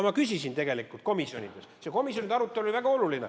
Ma küsisin tegelikult komisjonides ühe küsimuse, see komisjonide arutelu oli väga oluline.